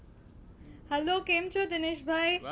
Hello કેમ છો દિનેશ ભાઈ?